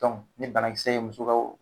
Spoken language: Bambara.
Dɔnku ni banakisɛ ye muso ka o